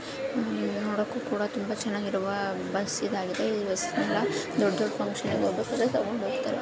ಇಲ್ಲಿ ನೂಡಕ್ಕೂ ಕೂಡ ತುಂಬಾ ಚೆನ್ನಾಗಿರುವ ಬಸ್ ಇದಾಗಿದೆ ಇದು ಬಸ್ ನೆಲ್ಲ ದೊಡ್ಡ ದೊಡ್ಡ ಫುನ್ಕ್ಷನ್ ಗೆ ಹಿಒಗ್ಬೇಕಾದ್ರೆ ತಗೊಂಧೂಗ್ತಾರೆ.